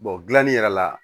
dilanli yɛrɛ la